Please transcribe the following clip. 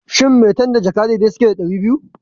Shin maitan da jaka dai dai suke da ɗari biyu?